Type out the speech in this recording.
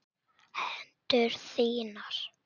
Hendur þínar.